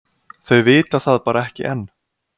Þau vita það bara ekki enn.